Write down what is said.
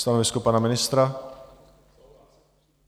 Stanovisko pana ministra?